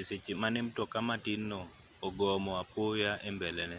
e seche mane mtoka matinno ogomo apoya e mbelene